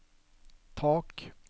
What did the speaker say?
tak